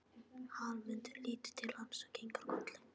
Hallmundur lítur til hans og kinkar kolli.